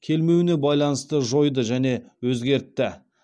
келмеуіне байланысты жойды және өзгертті